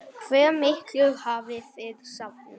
Hve miklu hafið þið safnað?